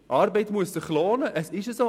Arbeit muss sich lohnen, das ist so!